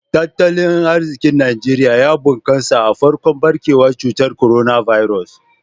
Tattalin arzikin Najeriya ya bunkasa a farkon barkewar cutar Coronavirus.